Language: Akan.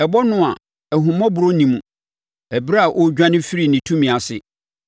Ɛbɔ no a ahummɔborɔ nni mu ɛberɛ a ɔredwane afiri ne tumi ase.